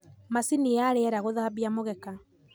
macini ta riera guthambia mugeeka